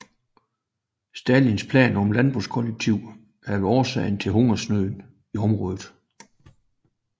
Stalins planer om landbrugskollektiv havde været årsag til hungersnød i området